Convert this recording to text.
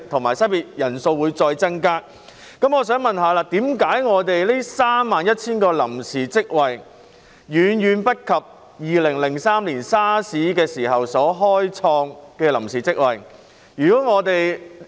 我的補充質詢是：為甚麼當局只開設31000個臨時職位，數目遠遠不及2003年 SARS 時所開設的臨時職位數目？